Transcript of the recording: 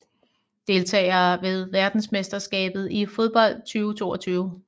Deltagere ved verdensmesterskabet i fodbold 2022